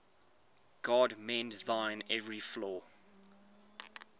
god mend thine every flaw